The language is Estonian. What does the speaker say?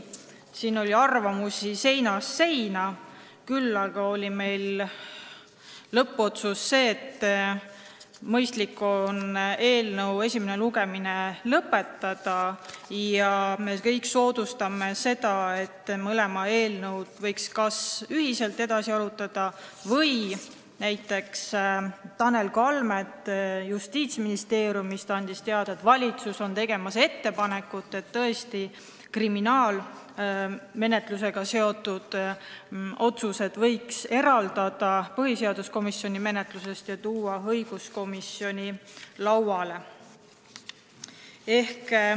Siin oli arvamusi seinast seina, aga lõppotsus oli see, et mõistlik on eelnõu esimene lugemine lõpetada ja eelnõusid võiks kas ühiselt edasi arutada või tuleks arvestada seda, mida andis teada Tanel Kalmet Justiitsministeeriumist, et valitsus on tegemas ettepanekut, et kriminaalmenetlusega seotud otsused võiks põhiseaduskomisjoni menetlusest tuua õiguskomisjoni lauale.